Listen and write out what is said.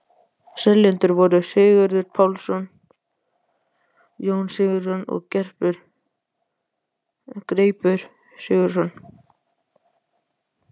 Seljendur voru Sigurður Pálsson, Jón Sigurðsson og Greipur Sigurðsson.